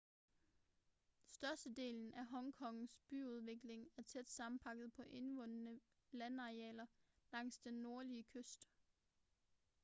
størstedelen af hong kongs byudvikling er tæt sammenpakket på indvundne landarealer langs den nordlige kyst